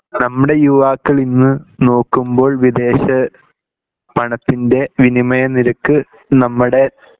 നമ്മുടെ യുവാക്കളിന്ന് നോക്കുമ്പോൾ വിദേശ പണത്തിൻ്റെ വിനിമയനിരക്ക് നമ്മുടെ